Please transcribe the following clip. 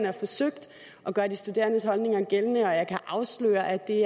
har forsøgt at gøre de studerendes holdninger gældende og jeg kan afsløre at det